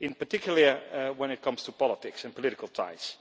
in particular when it comes to politics and political ties.